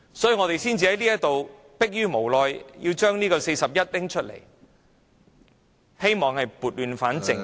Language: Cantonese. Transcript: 所以，我們才逼於無奈根據《議事規則》第41條動議議案，希望撥亂反正......